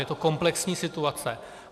Je to komplexní situace.